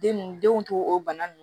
Den nun denw to o bana nunnu